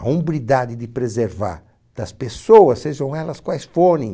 A hombridade de preservar das pessoas, sejam elas quais forem,